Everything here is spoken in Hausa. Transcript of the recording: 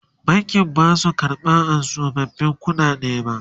bankin Basu karɓa tsofaffin ƙuɗaden ba